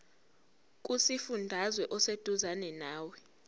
kusifundazwe oseduzane nawe